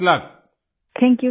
Vijayashanti ji thank you सिर